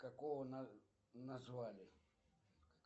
какого назвали